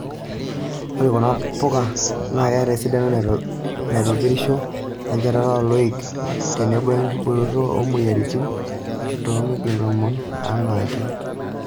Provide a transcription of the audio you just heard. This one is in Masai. Ore kuna puka naa keeta esidano naitopirisho, enchetata oo loik, tenebo inkibooroto oo moyiaritin too miligramu tonom aanake.